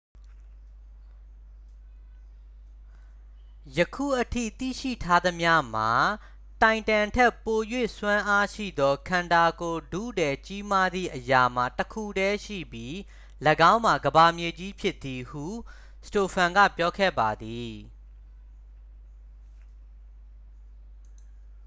ယခုအထိသိရှိထားသမျှမှာ တိုင်တမ်ထက် ပို၍စွမ်းအားရှိသော ခန္ဓာကိုယ်ထုထည်ကြီးမားသည့်အရာမှာ တစ်ခုတည်းရှိပြီး ၎င်းမှာ ကမ္ဘာမြေကြီးဖြစ်သည် ဟု စတိုဖန် က ပြောခဲ့ပါသည်